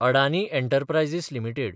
Adani enterprises limited